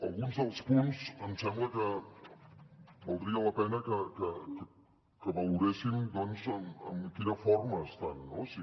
alguns dels punts em sembla que valdria la pena que valoréssim doncs en quina forma estan si